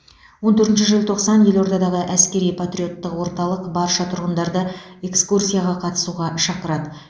он төртінші желтоқсан елордадағы әскери патриоттық орталық барша тұрғындарды экскурсияға қатысуға шақырады